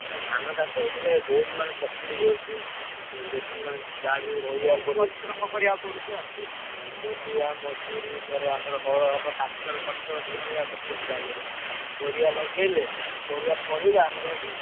ନା ଧାନ ଚାଷ ହେଲେ ବହୁତ ମାନେ तकलीफ ହଉଛି। ବେଶୀ ମାନେ ଯାହାବି ହଉ ମୁଲିଆ ମଜୁରି ଫେରେ ଆମର ହଳ ହବ tractor ଖର୍ଚ ଦୁନିଆ ଖର୍ଚ ଅଛି ଧାନରେ। ପରିବା ଲଗେଇଲେ ପରିବା ଫଳିଲା ଆମର ମାନେ।